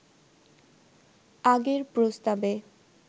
আগের প্রস্তাবে